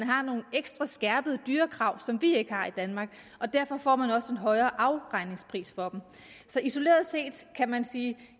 har nogle ekstra skærpede dyrekrav som vi ikke har i danmark og derfor får man også en højere afregningspris for dem så isoleret set kan man sige